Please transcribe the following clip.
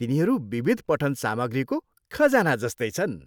तिनीहरू विविध पठन सामग्रीको खजाना जस्तै छन्।